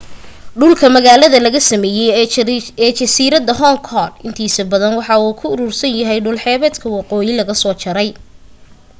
dhulka magaalada laga sameeyay ee jasiirada hong kong intiisa badan waxa uu ku uruursan yahay dhul xeebta waqooyi laga soo jaray